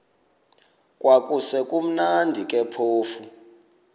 kwakusekumnandi ke phofu